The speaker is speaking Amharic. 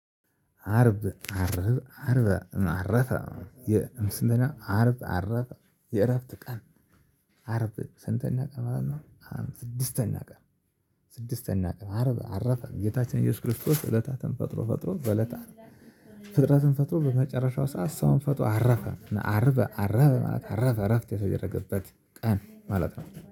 አርብ አርብ አርብ አረፈ የእምስለና አርብ አረፈ የእረፍት ቀን አረብ ስንተኛ ቀን ማለት ነው? ስድስተኛ ቀን። ስድስተኛ ቀን አረብ አረፈ ጌታችን ኢየሱስ ክርስቶስ እለታትን ፈጥሮ ፈጥሮ በእለተ አርብ። ፍጥረትን ፈጥሮ በመጨረሻው ሰዓት ሰውን ፈጥሮ አረፈ። አረፈ አረፈ አረፈ እረፍት የተደረገበት ቀን ማለት ነው